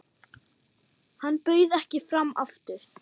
Hann bauð ekki fram aftur.